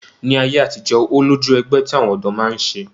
Ní ayé àtijọ́, ó lójú ẹgbẹ́ tí àwọn ọ̀dọ́ máa ń ṣe